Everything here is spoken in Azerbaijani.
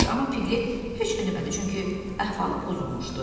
amma Piqlet heç nə demədi, çünki əhvalı pozulmuşdu.